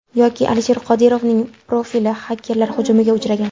Yoki Alisher Qodirovning profili xakerlar hujumiga uchragan.